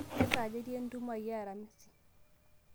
kesaaja etii entumo aai e aramisi